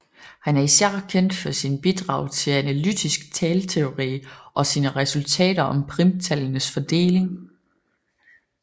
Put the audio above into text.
Han er især kendt for sine bidrag til analytisk talteori og sine resultater om primtallenes fordeling